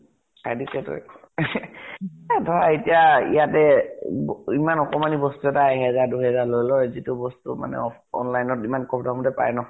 খাই দিছেতো। এহ ধৰা এতিয়া ইয়াতে ব ইমান অকমানি বস্তু এটা এহেজাৰ দুই হেজাৰ লৈ লয় যিটো বস্তু off online ত ইমান কম দামতে পায় ন?